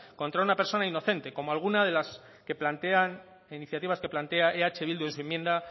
contra una persona inocente como alguna de las iniciativas que plantea eh bildu en su enmienda